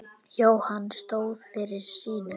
Jóhann stóð fyrir sínu.